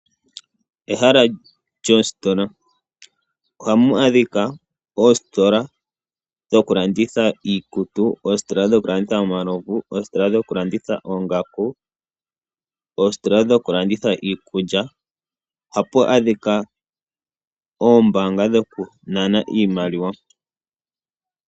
Ehala lyoositola. Ohamu adhikwa oositola dhoku landitha iikutu, oositola dhoku landitha omalovu, oositola dhoku landitha oongaku, oositola dhoku landitha iikulya, ohapu adhikwa oombaanga dhoku nana iimaliwa,.